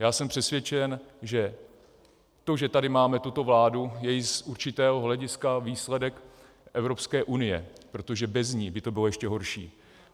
Já jsem přesvědčen, že to, že tady máme tuto vládu, je i z určitého hlediska výsledek Evropské unie, protože bez ní by to bylo ještě horší.